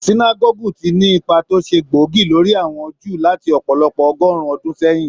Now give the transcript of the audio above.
Sinágọ́gù ti ní ipá tó ṣe gbóògì lórí àwọn Júù láti ọ̀pọ̀lọpọ̀ ọgọ́rùn-ún ọdún sẹ́yìn.